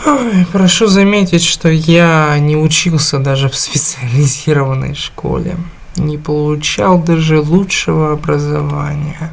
ой прошу заметить что я не учился даже в специализированной школе не получал даже лучшего образования